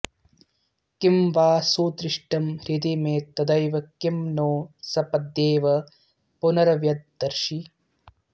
किं वा सुदृष्टं हृदि मे तदैव किं नो सपद्येव पुनर्व्यदर्शि